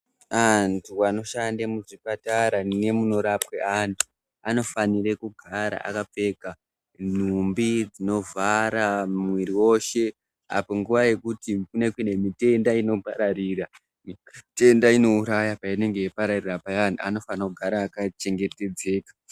Antu anoshande muchipatara nemunorapwe antu anofanire kugara akapfeka nhumbi dzinovhara mwiri woshe apo nguwa yekuti kune kuine mitenda inopararira , mitenda inouraya painenge ichipararira payani anofana kugara akachengetedzeka.